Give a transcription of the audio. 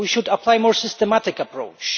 We should apply a more systematic approach.